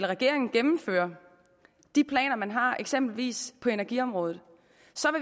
regeringen gennemfører de planer man har eksempelvis på energiområdet